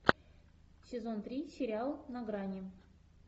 сезон три сериал на грани